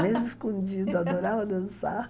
Mesmo escondido, eu adorava dançar.